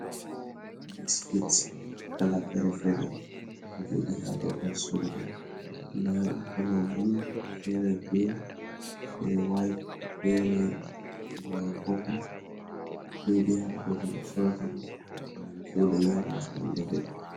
Biskits kala fere-fere, ɗo jodi ha babal sorugo. Nda kolo blu, fere grin, fere waite, fere baa popul, ɗo jooɗi ha babal ɓe sorata ɗum. Himɓe ɗo soda nyaama, ngam ɗo veli.